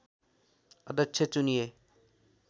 अध्यक्ष चुनिए